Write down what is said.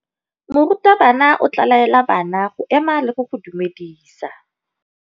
Morutabana o tla laela bana go ema le go go dumedisa.